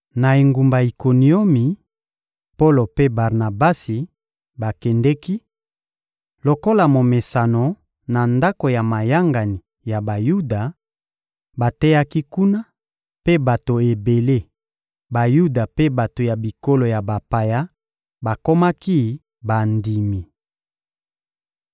Na engumba Ikoniomi, Polo mpe Barnabasi bakendeki, lokola momesano, na ndako ya mayangani ya Bayuda; bateyaki kuna, mpe bato ebele, Bayuda mpe bato ya bikolo ya bapaya, bakomaki bandimi.